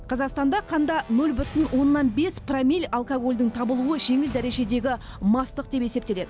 қазақстанда қанда нөл бүтін оннан бес промил алкогольдің табылуы жеңіл дәрежедегі мастық деп есептеледі